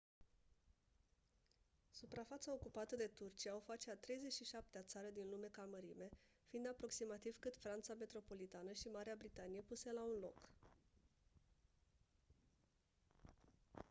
suprafața ocupată de turcia o face a 37-a țară din lume ca mărime fiind aproximativ cât franța metropolitană și marea britanie puse la un loc